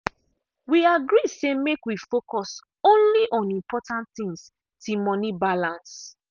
we agree say make we focus only on important things till money balance.